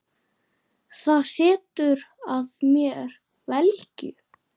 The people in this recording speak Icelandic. Það setur að mér velgju.